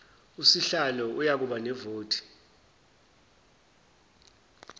usihlalo uyakuba nevoti